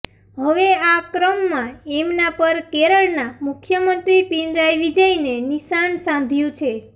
હવે આ ક્રમમાં એમના પર કેરળના મુખ્યમંત્રી પિનરાઇ વિજયને નિશાન સાધ્યું છે